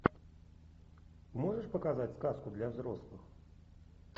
можешь показать сказку для взрослых